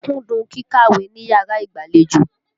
Mo kúndùn kíkàwé níyàrá ìgbàlejò.